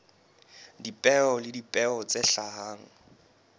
dipeo le dipeo tse hlahang